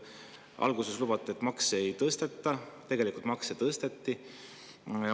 Alguses lubati, et makse ei tõsteta, aga tegelikult tõsteti makse.